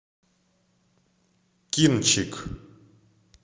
кинчик